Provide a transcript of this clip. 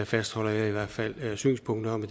fastholder jeg i hvert fald synspunktet om at